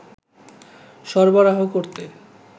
সরবরাহ করতে